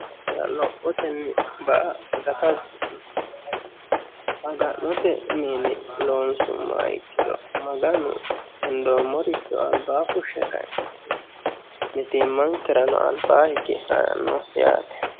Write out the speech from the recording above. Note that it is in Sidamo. ira lophotenni ba a gatasi maga'note miini loonsummoha ikkiro maganu hendoommoricho albaa fushshe kaintinni mitiimmankirano albaa hige haranno yaate